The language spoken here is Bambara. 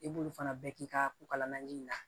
I b'olu fana bɛɛ k'i ka ko kalaman ji in na